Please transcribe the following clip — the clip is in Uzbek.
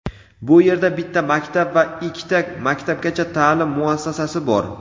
Bu yerda bitta maktab va ikkita maktabgacha ta’lim muassasasi bor.